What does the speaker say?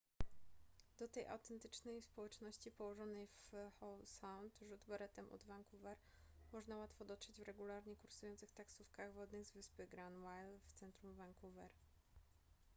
do tej autentycznej społeczności położonej w howe sound rzut beretem od vancouver można łatwo dotrzeć w regularnie kursujących taksówkach wodnych z wyspy granville w centrum vancouver